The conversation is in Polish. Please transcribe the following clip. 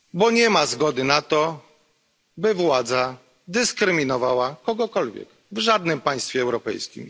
Nie ma zgody na to, by władza dyskryminowała kogokolwiek w jakimkolwiek państwie europejskim.